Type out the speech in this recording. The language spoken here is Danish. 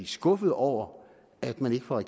skuffede over at man ikke fra